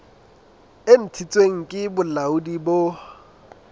e ntshitsweng ke bolaodi bo